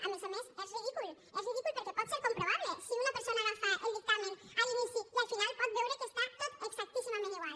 a més a més és ridícul és ridícul perquè pot ser comprovable si una persona agafa el dictamen a l’inici i al final pot veure que està tot exactíssimament igual